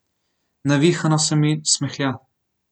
Navihano se mi smehlja.